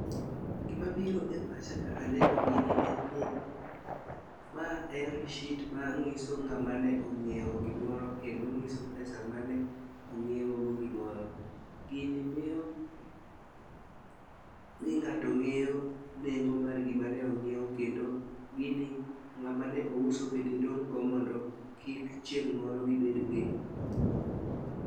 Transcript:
Gima biro e pacha ka aneno gini , en ni ma en receipt manyiso ng'ama ne ong'iewo gimoro kendo nyiso pesa mane ong'iewogo gimoro. Gini miyo ni ng'ato ng'eyo nengo mar gima ne ong'iewo kendo gini ng'at mane ouso bende dong'go mondo kik chieng moro gibed gi.